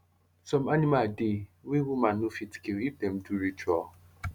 some anima dey wey woman no fit kill if dem dey do ritual